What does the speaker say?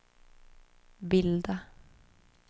bilda